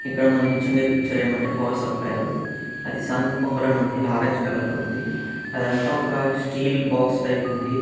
ఇక్కడ మనకిచ్చుండే పిక్చర్ ఏమంటే పవర్ సప్లయర్ అది సన్ పవర్ అని ఉంది ఆరెంజ్ కలర్ లో ఉంది అదంతా ఒక స్టీల్ బాక్స్ టైపు ఉంది.